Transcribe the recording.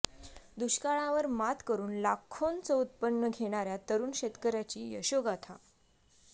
दुष्काळावर मात करून लाखोंचं उत्पन्न घेणाऱ्या तरुण शेतकऱ्याची यशोगाथा